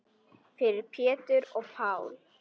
Fyrir Pétur og Pál.